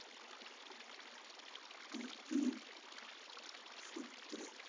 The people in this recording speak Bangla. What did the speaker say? ED র সূত্রে